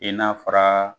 I n'a fɔra